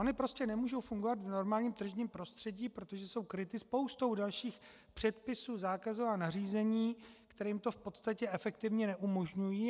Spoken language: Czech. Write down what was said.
Ony prostě nemůžou fungovat v normálním tržním prostředí, protože jsou kryty spoustou dalších předpisů, zákazů a nařízení, které jim to v podstatě efektivně neumožňují.